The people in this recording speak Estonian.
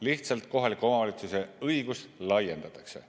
Lihtsalt kohaliku omavalitsuse õigust laiendatakse.